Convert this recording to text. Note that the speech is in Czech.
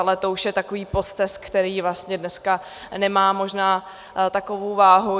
Ale to už je takový postesk, který vlastně dneska nemá možná takovou váhu.